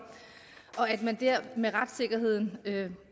og at man dér med retssikkerheden